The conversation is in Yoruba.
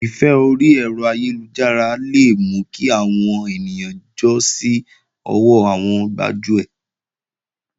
Ìfẹ́ orí ẹ̀rọ ayélujára le mú kí àwọn ènìyàn jọ́ sí ọwọ́ àwọn gbájúẹ̀